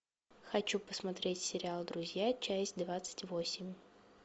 хочу посмотреть сериал друзья часть двадцать восемь